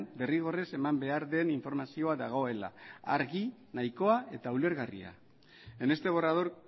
derrigorrez eman behar den informazioa dagoela argi nahikoa eta ulergarria en este borrador